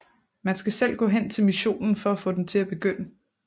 Man skal selv gå hen til missionen for at få den til at begynde